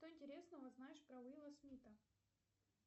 что интересного знаешь про уилла смита